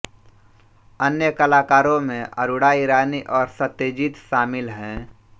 अन्य कलाकारों में अरुणा ईरानी और सत्यजीत शामिल हैं